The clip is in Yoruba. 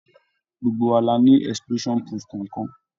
Gbogbo wa la ni explosion proof kọ̀ọ̀kan.